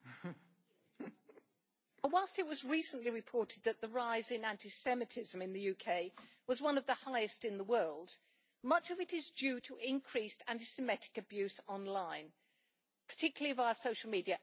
Madam President, whilst it was recently reported that the rise in anti Semitism in the UK was one of the highest in the world, much of it is due to increased anti Semitic abuse online, particularly via social media.